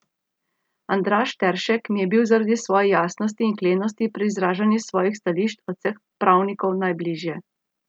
Andraž Teršek mi je bil zaradi svoje jasnosti in klenosti pri izražanju svojih stališč od vseh pravnikov najbližje.